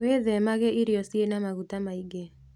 Wĩthemage irio ciĩna maguta maĩ ngĩ